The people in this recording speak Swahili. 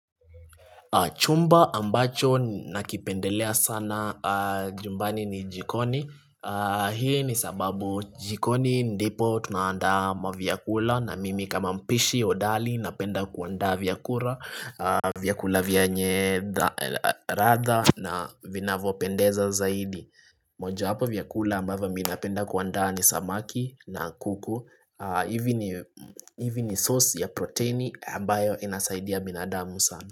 Chumba ambacho nakipendelea sana nyumbani ni jikoni. Hii ni sababu jikoni ndipo tunandaa mavyakula na mimi kama mpishi hodari napenda kuadaa vyakula. Vyakula vyenye ladha na vinavopendeza zaidi. Moja hapa vyakula ambavyo mimi napenda kuandaa ni samaki na kuku. Ivi ni sosi ya proteini ambayo inasaidia minadamu sana.